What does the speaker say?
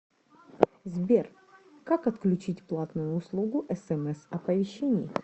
сбер как отключить платную услугу смс оповещений